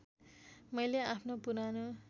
मैले आफ्नो पुरानो